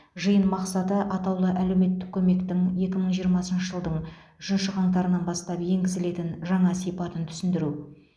жиын мақсаты атаулы әлеуметтік көмектің екі мың жиырмасыншы жылдың үшінші қаңтарынан бастап енгізілетін жаңа сипатын түсіндіру